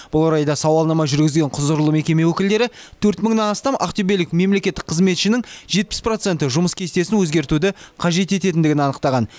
бұл орайда сауалнама жүргізген құзырлы мекеме өкілдері төрт мыңнан астам ақтөбелік мемлекеттік қызметшінің жетпіс проценті жұмыс кестесін өзгертуді қажет ететіндігін анықтаған